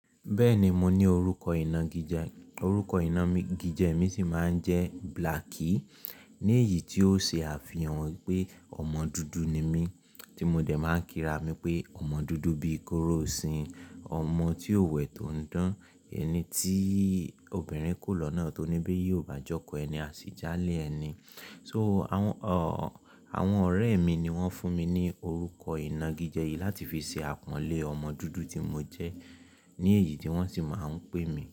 Bẹ́ẹ̀ni mo ní orúkọ ìnagijẹ, orúkọ ìnagijẹ mi sì máa ń jẹ́ Blacky. Ní èyí tí ó ṣe àfihàn wípé ọmọ dúdú ni mí, tí mo dẹ̀ máa ń kí ra mi pé ọmọ dúdú bíi kóró osìn, ọmọ tí ò wẹ̀ tó ń dán, ẹni tí obìnrin kò lọ́nà tó ní bí yóò bàjọ́kọ̀ ẹni, a sì je alé ẹni. So, àwọn, àwọn ọ̀rẹ́ mi ni wọ́n fún mi ní orúkọ ìnagijẹ yìí láti fi ṣe àpọ́nlé ọmọ dúdú tí mo jẹ́. Ní èyí tí wọ́n sì máa ń pè mí.